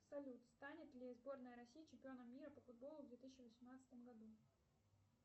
салют станет ли сборная россии чемпионом мира по футболу в две тысячи восемнадцатом году